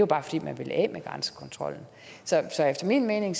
bare fordi man vil af med grænsekontrollen så efter min mening